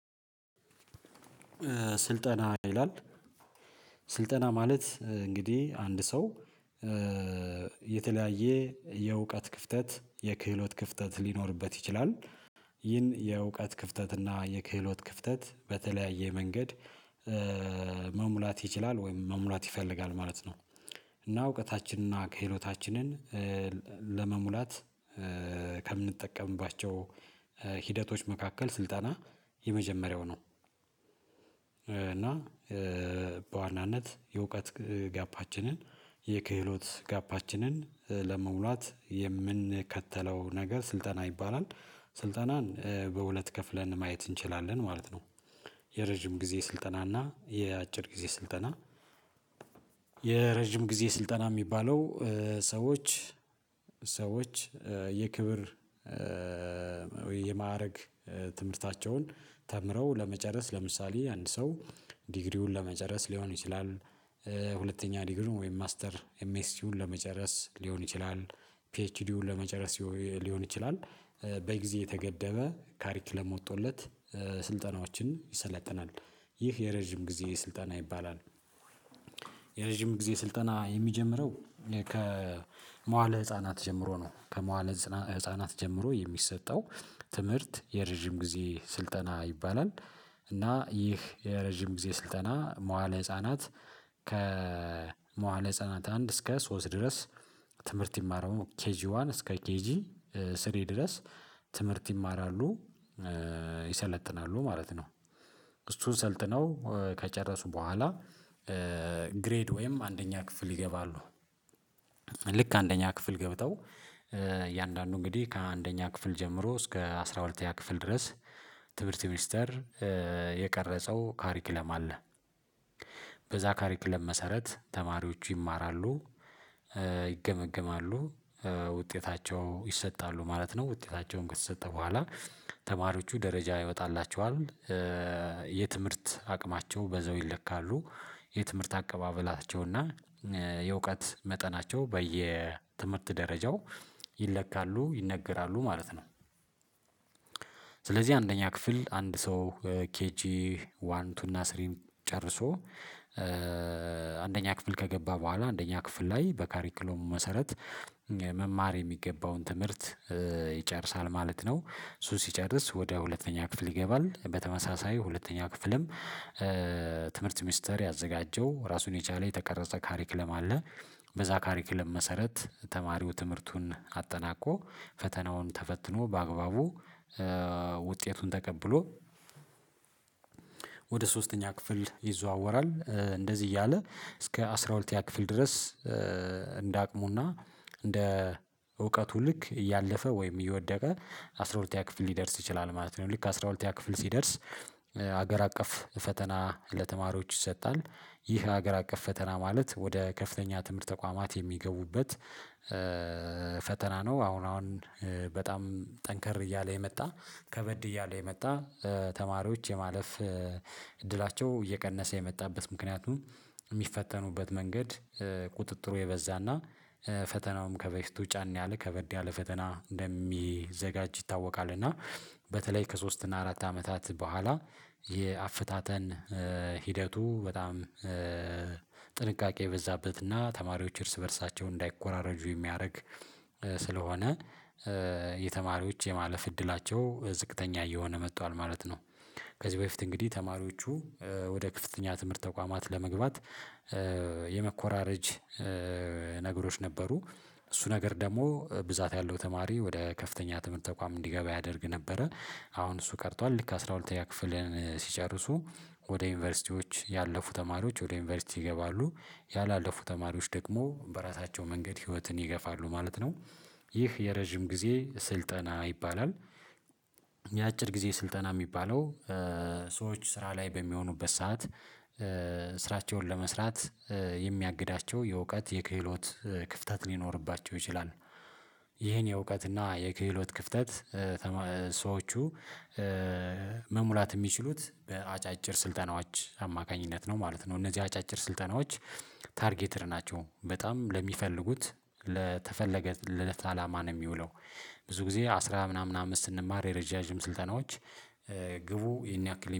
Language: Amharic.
ስልጠና ይላል። ስልጠና ማለት እንግዲህ አንድ ሰው የተለያየ የእውቀት ክፍተት የክህሎት ክፍተት ሊኖርበት ይችላል። ይህን የእውቀት ክፍተት እና የክህሎት ክፍተት በተለያየ መንገድ። መሙላት ይችላል ወይም መሙላት ይፈልጋል ማለት ነው እና እውቀታችንን እና ክህሎታችንን ለመሙላት ከምንጠቀምባቸው ሂደቶች መካከል ስልጠና የመጀመሪያው ነው። እና በዋናነት የእውቀት ጋፓችንን የክህሎት ጋፓችንን ለመሙላት የምንከተለው ነገር ስልጠና ይባላል። ስልጠናን በሁለት ከፍለን ማየት እንችላለን ማለት ነው። የረጅም ጊዜ ስልጠናና የአጭር ጊዜ ስልጠና። የረጅም ጊዜ ስልጠና የሚባለው ሰዎች ሰዎች የክብር የማዕረግ ትምህርታቸውን ተምረው ለመጨረስ ለምሳሌ አንድ ሰው ዲግሪውን ለመጨረስ ሊሆን ይችላል ሁለተኛ ዲግሪውን ወይም ማስተር ኤምኤስቲውን ለመጨረስ ሊሆን ይችላል ፒኤችዲውን ለመጨረስ ሊሆን ይችላል በጊዜ የተገደበ ካሪክለም ወጥቶለት ስልጠናዎችን ይሰለጥናል ይህ የረጅም ጊዜ ስልጠና ይባላል። የረጅም ጊዜ ስልጠና የሚጀምረው ከመዋለ ህፃናት ጀምሮ ነው ከመዋለ ህፃናት ጀምሮ የሚሰጠው ትምህርት የረጅም ጊዜ ስልጠና ይባላል። እና ይህ የረጅም ጊዜ ስልጠና መዋለ ህፃናት ከመዋለ ህፃናት አንድ እስከ ሶስት ድረስ ትምህርት ይማራሉ ኬጂዋን እስከ ኬጂ ስሪ ድረስ ትምህርት ይማራሉ ይሰለጥናሉ ማለት ነው። እሱን ሰልጥነው ከጨረሱ በኋላ ግሬድ ወይም አንደኛ ክፍል ይገባሉ። ልክ አንደኛ ክፍል ገብተው እያንዳንዱ እንግዲህ ከአንደኛ ክፍል ጀምሮ እስከ አስራ ሁለተኛ ክፍል ድረስ ትምህርት ሚኒስተር የቀረጸው ካሪክለም አለ። በዛ ካሪክለም መሰረት ተማሪዎቹ ይማራሉ ይገመግማሉ ውጤታቸው ይሰጣሉ ማለት ነው። ውጤታቸውን ከተሰጠ በኋላ ተማሪዎቹ ደረጃ ይወጣላቸዋል። የትምህርት አቅማቸው በዛው ይለካሉ የትምህርት አቀባበላቸውና የእውቀት መጠናቸው በየትምህርት ደረጃው ይለካሉ ይነገራሉ ማለት ነው። ስለዚህ አንደኛ ክፍል አንድ ሰው ኬጂ ዋን ቱና ስሪ ጨርሶ አንደኛ ክፍል ከገባ በኋላ አንደኛ ክፍል ላይ በካሪኩሎም መሰረት መማር የሚገባውን ትምህርት ይጨርሳል ማለት ነው። እሱ ሲጨርስ ወደ ሁለተኛ ክፍል ይገባል በተመሳሳይ ሁለተኛ ክፍልም። ትምህርት ሚኒስተር ያዘጋጀው ራሱን የቻለ የተቀረጸ ካሪክለም አለ። በዛ ካሪክለም መሰረት ተማሪው ትምህርቱን አጠናቆ ፈተናውን ተፈትኖ በአግባቡ ውጤቱን ተቀብሎ ወደ ሶስተኛ ክፍል ይዘዋወራል። እንደዚህ እያለ እስከ አስራ ሁለተኛ ክፍል ድረስ አቅሙና እንደ እውቀቱ ልክ እያለፈ ወይም እየወደቀ አስራ ሁለተኛ ክፍል ሊደርስ ይችላል ማለት ነው። ልክ አስራ ሁለተኛ ክፍል ሲደርስ ሀገር አቀፍ ፈተና ለተማሪዎች ይሰጣል። ይህ ሀገር አቀፍ ፈተና ማለት ወደ ከፍተኛ ትምህርት ተቋማት የሚገቡበት ፈተና ነው። አሁን አሁን በጣም ጠንከር እያለ የመጣ ከበድ እያለ የመጣ ተማሪዎች የማለፍ እድላቸው እየቀነሰ የመጣበት ምክንያቱም ሚፈተኑበት መንገድ ቁጥጥሩ የበዛና ፈተናውም ከበፊቱ ጫን ያለ ከበድ ያለ ፈተና እንደሚዘጋጅ ይታወቃል። እና በተለይ ከሶስት እና አራት አመታት በኋላ የአፈታተን ሂደቱ በጣም ጥንቃቄ የበዛበትና ተማሪዎች እርስ በእርሳቸው እንዳይኮራረጁ የሚያረግ ስለሆነ የተማሪዎች የማለፍ እድላቸው ዝቅተኛ እየሆነ መጥቷል ማለት ነው። ከዚህ በፊት እንግዲህ ተማሪዎቹ ወደ ክፍተኛ ትምህርት ተቋማት ለመግባት የመኮራረጅ ነገሮች ነበሩ። እሱ ነገር ደግሞ ብዛት ያለው ተማሪ ወደ ከፍተኛ ትምህርት ተቋም እንዲገባ ያደርግ ነበረ። አሁን እሱ ቀርቷል። ልክ አስራ ሁለተኛ ክፍልን ሲጨርሱ ወደ ዩኒቨርሲቲዎች ያለፉ ተማሪዎች ወደ ዩኒቨርሲቲ ይገባሉ። ያላለፉ ተማሪዎች ደግሞ በራሳቸው መንገድ ህይወትን ይገፋሉ ማለት ነው። ይህ የረጅም ጊዜ ስልጠና ይባላል። የአጭር ጊዜ ስልጠና ሚባለው ሰዎች ስራ ላይ በሚሆኑበት ሰዓት ስራቸውን ለመስራት የሚያግዳቸው የእውቀት የክህሎት ክፍተት ሊኖርባቸው ይችላል። ይሄን የእውቀት እና የክህሎት ክፍተት ሰዎቹ መሙላት የሚችሉት በአጫጭር ስልጠናዎች አማካኝነት ነው ማለት ነው። እነዚህ አጫጭር ስልጠናዎች ታርጌትድ ናቸው በጣም ለሚፈልጉት ለተፈለገለት አላማ ነው የሚውለው። ብዙ ጊዜ አስራ ምናምን አመስት ስንማር የረዣዥም ስልጠናዎች ግቡ ይሄን ያክል